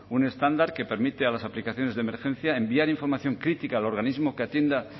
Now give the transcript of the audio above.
un estándar que permite a las aplicaciones de emergencia enviar información crítica al organismo que atienda